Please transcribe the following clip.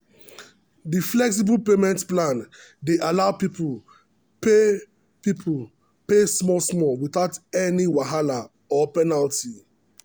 the flexible payment plan dey allow people pay people pay small small without any wahala or penalty.